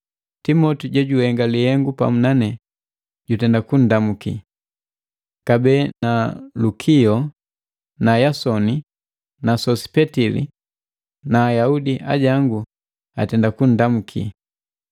Timoti jojuhenga lihengu pamu nane, jutenda kunndamuki. Kabee na Lukio na Yasoni na Sosipetili na Ajaudi ajangu atenda kunndamuki.